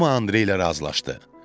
Hamı Andrey ilə razılaşdı.